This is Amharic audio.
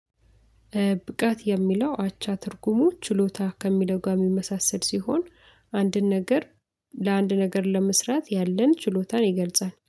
ብቃት የሚለው አቻ ትርጉሞች ችሎታ ከሚለው ጋር የሚመሳሰል ሲሆን አንድን ነገር ለአንድ ነገር ለመስራት ያለን ችሎታን ይገልጻል።